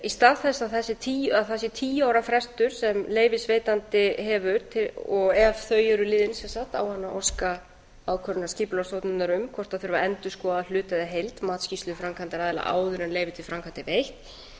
í stað þess að það sé tíu ára frestur sem leyfisveitandi hefur og ef þau eru liðin sem sagt á hann að óska ákvörðunar skipulagsstofnunar um hvort það þurfi að endurskoða hluta eða heild matsskýrslu framkvæmdaraðila áður en leyfi til framkvæmda er veitt